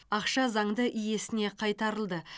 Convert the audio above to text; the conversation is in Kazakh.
ақша заңды иесіне қайтарылды